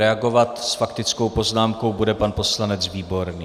Reagovat s faktickou poznámkou bude pan poslanec Výborný.